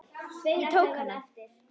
Ég tók hana.